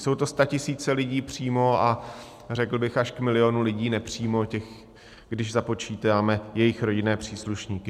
Jsou to statisíce lidí přímo a řekl bych až k milionu lidí nepřímo, když započítáme jejich rodinné příslušníky.